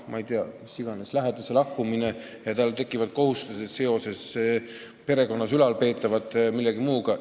Näiteks võib lähedase lahkumine tekitada kohustusi perekonnas seoses ülalpeetavatega vms.